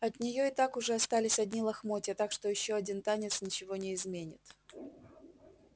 от неё и так уже остались одни лохмотья так что ещё один танец ничего не изменит